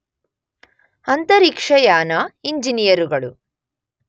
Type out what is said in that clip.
ಅಂತರಿಕ್ಷಯಾನ ಇಂಜಿನಿಯರುಗಳು